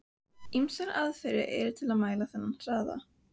Ýmsar aðferðir eru til að mæla þennan hraða.